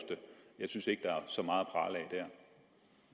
jeg synes ikke at der er så meget